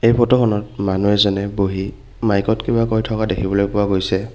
এই ফটোখনত মানুহ এজনে বহি মাইকত কিবা কৈ থকা দেখিবলৈ পোৱা গৈছে।